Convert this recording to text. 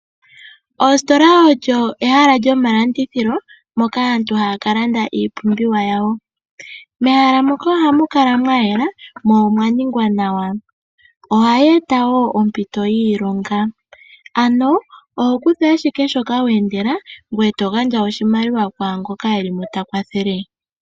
Ostola olyo ehala lyomalandithilo moka aatu haya kalanda iipumbiwa yawo. Mehala moka ohamu kala mwayela mo omwaningwa nawa. Ohayi eta woo ompito yiilonga. Ano oho kutha ashike shoka weendela ngoye togandja oshimaliwa kwaangoka eli mo takwathele.